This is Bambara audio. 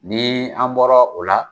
Ni an bɔra o la